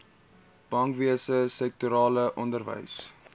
bankwese sektorale onderwys